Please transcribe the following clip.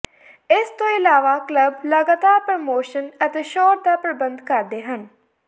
ਇਸ ਤੋਂ ਇਲਾਵਾ ਕਲੱਬ ਲਗਾਤਾਰ ਪ੍ਰੋਮੋਸ਼ਨ ਅਤੇ ਛੋਟ ਦਾ ਪ੍ਰਬੰਧ ਕਰਦੇ ਹਨ